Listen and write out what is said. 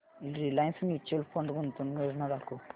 Reliance mutual fund गुंतवणूक योजना दाखव